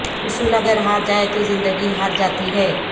اصول اگر ہار جائیں تو زندگی ہار جاتی ہے